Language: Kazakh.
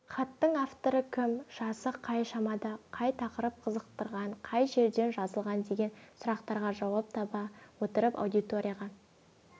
хаттың авторы кім жасы қай шамада қай тақырып қызықтырған қай жерден жазылған деген сұрақтарға жауап таба отырып аудиторияға